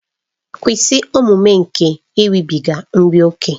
Kwụsị omume nke iribiga nri ókè!